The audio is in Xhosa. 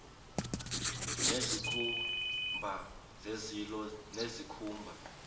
nezikhumba zezilo nezikhumba